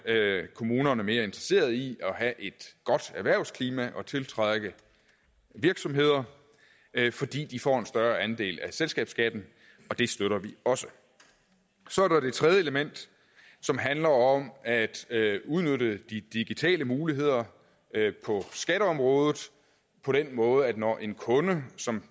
kommunerne mere interesseret i at have et godt erhvervsklima og tiltrække virksomheder fordi de får en større andel af selskabsskatten og det støtter vi også så er der det tredje element som handler om at udnytte de digitale muligheder på skatteområdet på den måde at hvor en kunde som